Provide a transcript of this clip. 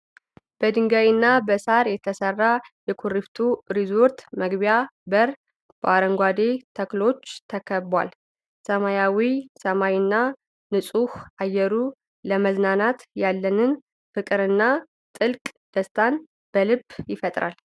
በድንጋይና በሳር የተሰራው የኩሪፍቱ ሪዞርት መግቢያ በር፣ በአረንጓዴ ተክሎች ተከቧል። ሰማያዊው ሰማይና ንጹህ አየሩ ለመዝናናት ያለንን ፍቅርና ጥልቅ ደስታ በልብ ይፈጥራል።